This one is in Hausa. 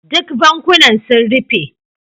Duk bankunan sun rufe.